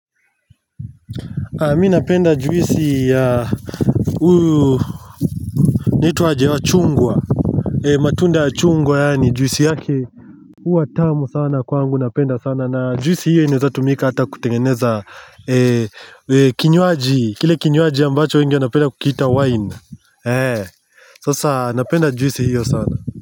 Mi napenda juisi ya huyu inaitwa aje wachungwa ee matunda ya chungwa yaani juisi yake hua tamu sana kwangu napenda sana na juisi hiyo inaweza tumika hata kutengeneza ee ee kinyuaji kile kinyuaji ambacho wengi wanapenda kukiita wine ee sasa napenda juisi hiyo sana.